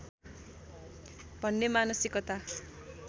भन्ने मानसिकता